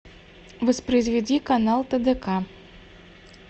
воспроизведи канал тдк